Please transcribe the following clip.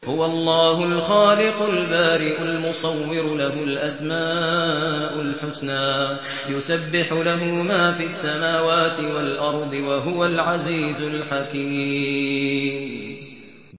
هُوَ اللَّهُ الْخَالِقُ الْبَارِئُ الْمُصَوِّرُ ۖ لَهُ الْأَسْمَاءُ الْحُسْنَىٰ ۚ يُسَبِّحُ لَهُ مَا فِي السَّمَاوَاتِ وَالْأَرْضِ ۖ وَهُوَ الْعَزِيزُ الْحَكِيمُ